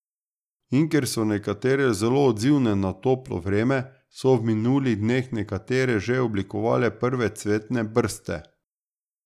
In ker so nekatere zelo odzivne na toplo vreme, so v minulih dneh nekatere že oblikovale prve cvetne brste.